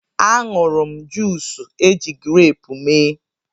A ṅụrụ m juus eji greepụ mee.